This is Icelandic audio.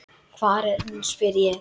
Hvar er hún, spyr ég.